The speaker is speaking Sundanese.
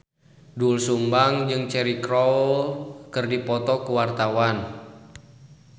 Doel Sumbang jeung Cheryl Crow keur dipoto ku wartawan